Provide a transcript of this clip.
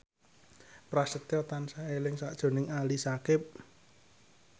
Prasetyo tansah eling sakjroning Ali Syakieb